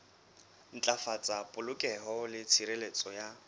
ntlafatsa polokeho le tshireletso ya